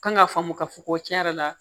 Kan ka faamu k'a fɔ ko tiɲɛ yɛrɛ la